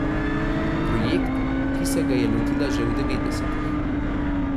Projekt, ki se ga je lotila že v devetdesetih.